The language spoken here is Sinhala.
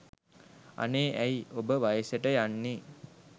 අනේ ඇයි ඔබ වයසට යන්නේ?